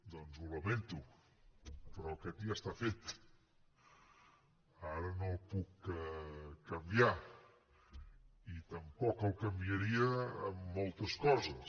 doncs ho lamento però aquest ja està fet ara no el puc canviar i tampoc el canviaria en moltes coses